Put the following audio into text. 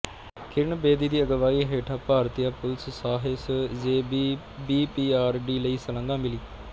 ਕਿਰਨ ਬੇਦੀ ਦੀ ਅਗਵਾਈ ਹੇਠਾਂ ਭਾਰਤੀਆ ਪੁਲਿਸ ਸਾਹਸ ਯੇ ਭੀ ਬੀਪੀਆਰਡੀ ਲਈ ਸ਼ਲਾਘਾ ਮਿਲੀ